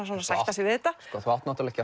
svona að sætta sig við þetta sko þú átt náttúrulega